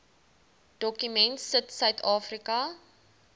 dokument sit suidafrika